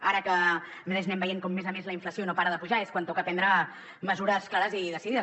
ara que a més a més estem veient com la inflació no para de pujar és quan toca prendre mesures clares i decidides